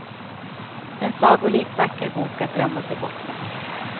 En sagolikt vacker bok att drömma sig bort med.